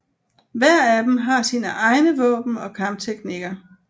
Hver af dem har sine egne våben og kampteknikker